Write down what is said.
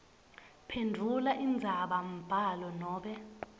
phendvula indzabambhalo nobe